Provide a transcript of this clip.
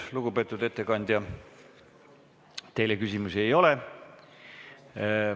Lugupeetud ettekandja, teile küsimusi ei ole.